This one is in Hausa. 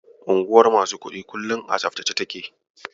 Unguwar masu kuɗi kullum a tsaftace take.